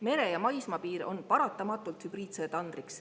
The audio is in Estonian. Mere‑ ja maismaapiir on paratamatult hübriidsõja tandriks.